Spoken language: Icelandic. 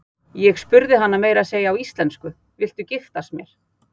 Ég spurði hana meira að segja á íslensku: Viltu giftast mér?